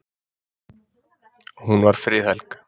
Hún var friðhelg.